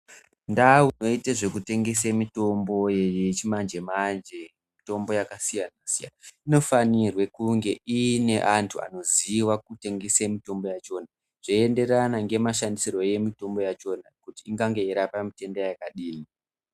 Ndau dzinoite zvekutengese mitombo yechimanje-manje mitombo yakasiyana-siyana. Inofanirwe kunge iine antu anoziva kutengesa mitombo yachona. Zveienderana ngemashandisirwo emitombo yachona kuti ingange yeirapa mitenda yakadini.